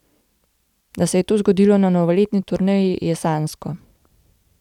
Da se je to zgodilo na novoletni turneji, je sanjsko.